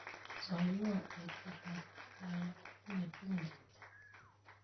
Soiwo eeh chitab Kiptayat, atinye tukun chechang'.